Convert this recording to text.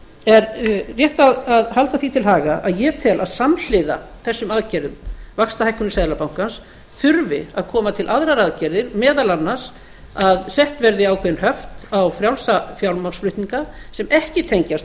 er rétt að halda því til haga að ég tel að samhliða þessum aðgerðum vaxtahækkun seðlabankans þurfi að koma til aðrar aðgerðir meðal annars að sett verði ákveðin höft á frjálsa fjármagnsflutninga sem ekki tengjast